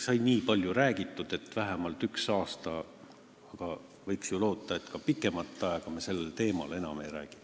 Sai nii palju räägitud, et oleks vähemalt üks selline aasta, aga võiks ju loota, et me pikemat aega sellel teemal enam ei räägi.